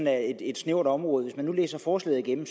er et snævert område hvis man læser forslaget igennem